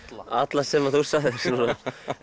alla sem þú sagðir núna